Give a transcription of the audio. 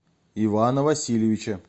ивана васильевича